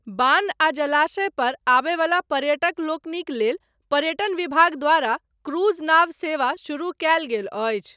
बान्ह आ जलाशयपर आबयवला पर्यटकलोकनिक लेल, पर्यटन विभाग द्वारा, क्रूज नाव सेवा शुरू कयल गेल अछि।